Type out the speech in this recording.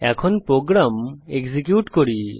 এখন programme execute করা যাক